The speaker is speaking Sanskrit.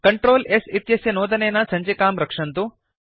Ctrl s इत्यस्य नोदनेन सञ्चिकां रक्षन्तु